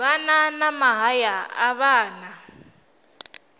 vhana na mahaya a vhana